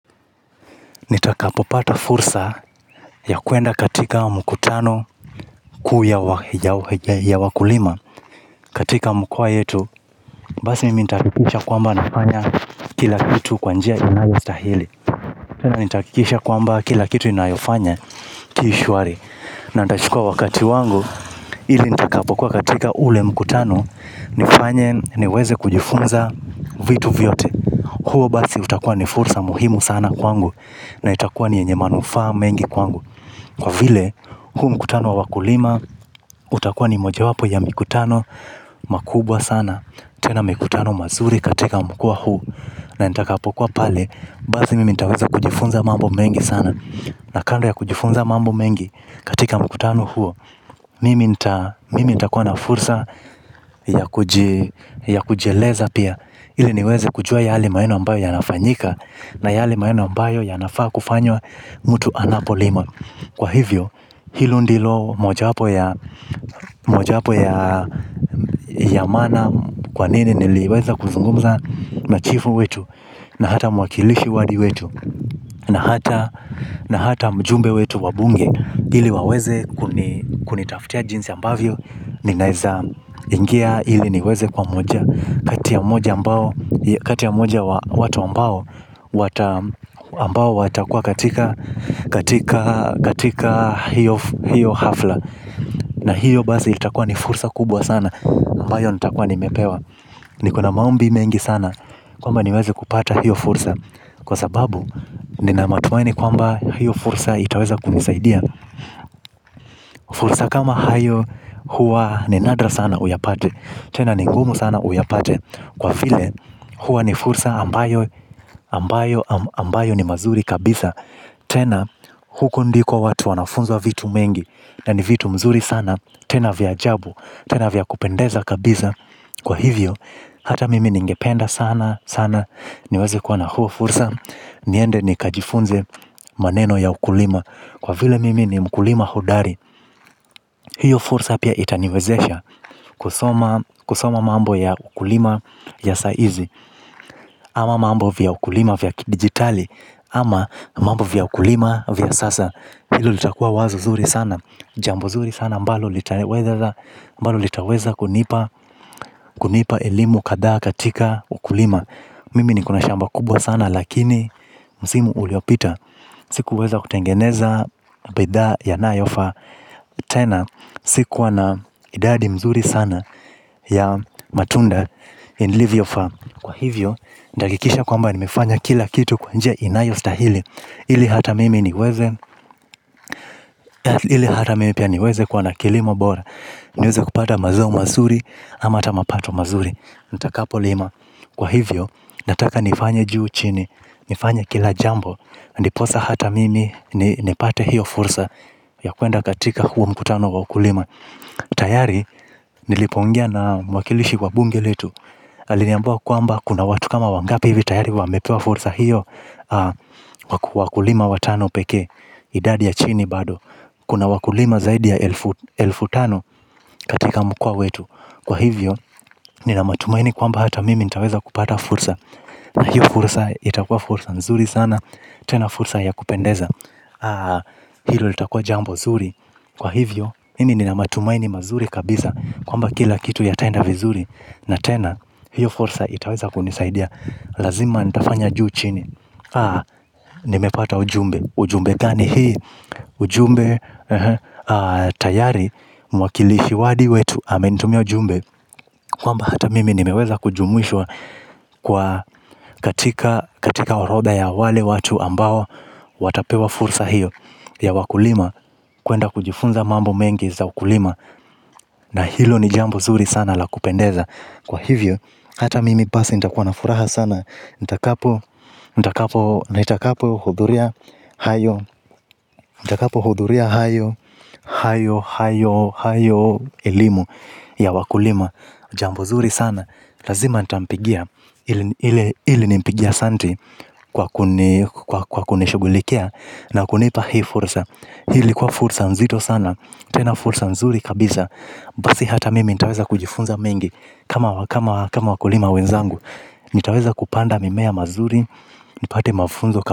Nitakapopata fursa ya kuenda katika mkutano kuu ya wakulima katika mkoa yetu basi mimi nitahakikisha kwamba nafanya kila kitu kwa njia inayostahili. Nitahakikisha kwamba kila kitu ninayofanya ki shwari. Na nitachukua wakati wangu ili nitakapo kuwa katika ule mkutano nifanye niweze kujifunza vitu vyote. Huo basi utakua ni fursa muhimu sana kwangu. Na itakuwa ni yenye manufaa mengi kwangu. Kwa vile, huu mkutano wa wakulima. Utakuwa ni moja wapo ya mikutano makubwa sana. Tena mikutano mazuri katika mkoa huu. Na nitakapokuwa pale basi mimi nitaweza kujifunza mambo mengi sana. Na kando ya kujifunza mambo mengi katika mkutano huo. Mimi nitakuwa na fursa. Ya kujieleza pia ili niweze kujua yale maneno ambayo ya nafanyika. Na yale maneno ambayo yanafaa kufanywa mtu anapolima. Kwa hivyo hilo ndilo moja wapo ya maana kwa nini niliweza kuzungumza na chifu wetu. Na hata mwakilishi wadi wetu na hata mjumbe wetu wa bunge ili waweze kunitafutia jinsi ambavyo ninaweza ingia ili niweze kuwa moja kati ya moja mbao watu ambao watakuwa katika hiyo ghafla. Na hiyo basi itakuwa ni fursa kubwa sana ambayo nitakuwa nimepewa. Nikona maombi mengi sana kwamba niwezi kupata hiyo fursa kwa sababu nina matumaini kwamba hiyo fursa itaweza kunisaidia. Fursa kama hayo huwa ni nadra sana uyapate tena ni ngumu sana uyapate. Kwa vile huwa ni fursa ambayo ni mazuri kabisa. Tena huko ndiko watu wanafunzwa vitu mengi. Na ni vitu mzuri sana. Tena vya ajabu. Tena vya kupendeza kabisa. Kwa hivyo hata mimi ningependa sana sana niweze kuwa na huo fursa niende nikajifunze maneno ya ukulima. Kwa vile mimi ni mkulima hodari. Hiyo fursa pia itaniwezesha kusoma kusoma mambo ya ukulima ya sahizi. Ama mambo vya ukulima vya kidigitali ama mambo vya ukulima vya sasa. Hilo litakua wazo zuri sana. Jambo zuri sana ambalo litaweza kunipa elimu kadhaa katika ukulima. Mimi nikona shamba kubwa sana. Lakini msimu uliopita sikuweza kutengeneza bidhaa yanayofaa tena sikuwa na idadi mzuri sana ya matunda Ilivyofaa. Kwa hivyo. Nitahakikisha kwamba nimefanya kila kitu kwa njia inayo stahili ili hata mimi niweze ili hata mimi pia niweze kwa na kilimo bora niweze kupata mazao mazuri ama hata mapato mazuri nitakapo lima kwa hivyo nataka nifanye juu chini nifanye kila jambo ndiposa hata mimi nipate hiyo fursa ya kuenda katika huo mkutano ya ukulima. Tayari nilipoongea na mwakilishi kwa bunge letu. Aliniambia kwamba kuna watu kama wangapi hivi tayari wamepewa fursa hiyo wakulima watano pekee idadi ya chini bado. Kuna wakulima zaidi ya elfu tano katika mkoa wetu. Kwa hivyo nina matumaini kwamba hata mimi nitaweza kupata fursa. Na hiyo fursa itakua fursa nzuri sana. Tena fursa ya kupendeza. Hilo litakua jambo zuri. Kwa hivyo mimi nina matumaini mazuri kabisa kwamba kila kitu ya tenda vizuri. Na tena hiyo fursa itaweza kunisaidia. Lazima nitafanya juu chini. Haa, nimepata ujumbe. Ujumbe gani hii. Ujumbe tayari mwakilishi wadi wetu amenitumia ujumbe kwamba hata mimi nimeweza kujumuishwa katika orodha ya wale watu ambao watapewa fursa hiyo ya wakulima kuenda kujifunza mambo mengi za ukulima. Na hilo ni jambo zuri sana la kupendeza. Kwa hivyo hata mimi basi nitakuwa na furaha sana nitakapo hudhuria hayo elimu ya wakulima. Jambo zuri sana. Lazima nita mpigia ili nimpigie asante kwa kunishughulikia na kunipa hii fursa. Hii ilikuwa fursa nzito sana. Tena fursa mzuri kabisa basi hata mimi nitaweza kujifunza mengi kama kama wakulima wenzangu. Nitaweza kupanda mimea mazuri nipate mafunzo.